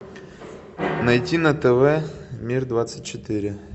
найти на тв мир двадцать четыре